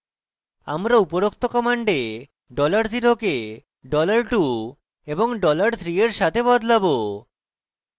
আমরা উপরোক্ত command $0 কে $2 এবং $3 we সাথে বদলাবো